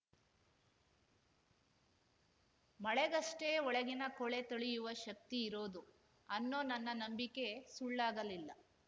ಮಳೆಗಷ್ಟೆಒಳಗಿನ ಕೊಳೆ ತೊಳೆಯುವ ಶಕ್ತಿ ಇರೋದು ಅನ್ನೊ ನನ್ನ ನಂಬಿಕೆ ಸುಳ್ಳಾಗಲಿಲ್ಲ